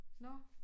Nåh